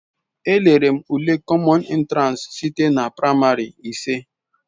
Elere m ule kọmọn entiransi site na praịmarị ise.